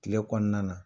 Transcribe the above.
Kile kɔnɔna na